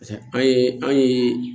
an ye an ye